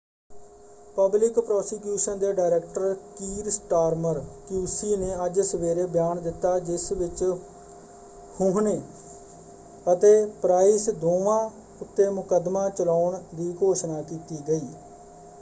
Public prosecution ਦੇ director Keir Starmer QC ਨੇ ਅੱਜ ਸਵੇਰੇ ਬਿਆਨ ਦਿੱਤਾ ਜਿਸ ਵਿੱਚ ਹੁਹਨੇ ਅਤੇ ਪ੍ਰਾਈਸ ਦੋਵਾਂ ਉੱਤੇ ਮੁਕੱਦਮਾ ਚਲਾਉਣ ਦੀ ਘੋਸ਼ਣਾ ਕੀਤੀ ਗਈ।